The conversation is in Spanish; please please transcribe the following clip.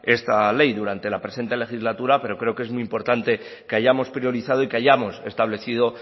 esta ley durante la presente legislatura pero creo que es muy importante que hayamos priorizado y que hayamos establecido